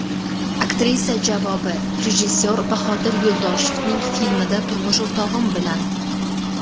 Aktrisa javobi: Rejissor Bahodir Yo‘ldoshevning filmida, turmush o‘rtog‘im bilan.